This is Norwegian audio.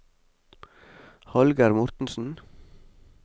Hallgeir Mortensen